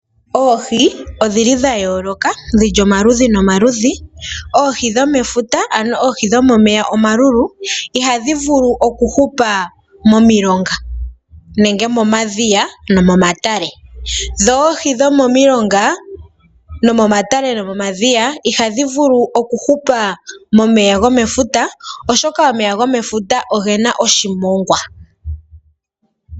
Oohi odhi li dha yooloka, dhi li omaludhi nomaludhi. Oohi dhomefuta, ano dhomomeya omalulu, ihadhi vulu okuhupa momilonga nenge momadhiya osho wo momatale. Dho oohi dhomomilonga, momatale oshowo momadhiya, ihadhi vulu okuhupa momeya gomefuta, oshoka omeya gomefuta oge na oshimongwa.